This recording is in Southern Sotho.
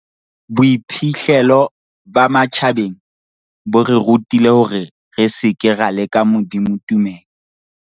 Boiphihlelo ba matjhabeng bo re rutile hore re seke ra leka Modimo tumelo.